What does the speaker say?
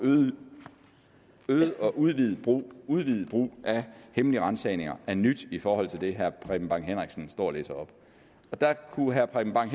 øget og udvidet brug udvidet brug af hemmelige ransagninger er nyt i forhold til det herre preben bang henriksen står og læser op og der kunne herre preben bang